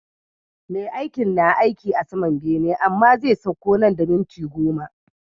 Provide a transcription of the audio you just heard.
Me aikin, na aiki a saman bene amma zai sakko nan da minti goma